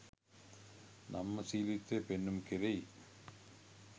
නම්‍යශීලීත්වය පෙන්නුම් කෙරෙයි